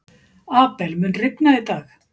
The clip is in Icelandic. Abel, mun rigna í dag?